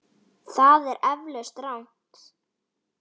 Það er eflaust rangt.